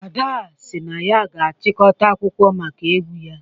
Ada sị na ya ga-achịkọta akwụkwọ maka ewu ya